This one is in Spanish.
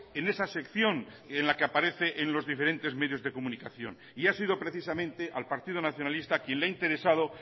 en esa sección en la que aparece en los diferentes medios de comunicación y ha sido precisamente al partido nacionalista a quien le ha interesado